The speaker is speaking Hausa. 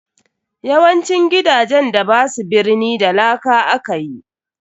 YAwancin gidajen da basu birni da laka akayi.